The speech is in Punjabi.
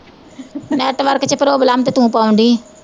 network ਚ problem ਤੇ ਤੂੰ ਪਾਉਣ ਡਈ ਐ